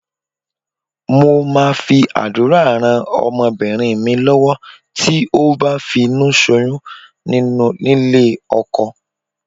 Mo máa fi àdúrà rán ọmọbìnrin mi lọ́wọ́ tí ó bá ti finúṣoyún nílé ọkọ.